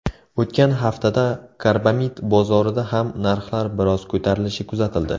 O‘tgan haftada karbamid bozorida ham narxlar biroz ko‘tarilishi kuzatildi.